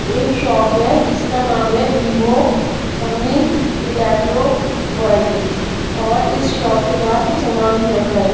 एक शॉप है जिसका नाम है वीवो ओमनी इलेक्ट्रो वर्ल्ड और इस शॉप के बाहर कुछ सामान भी रखा है.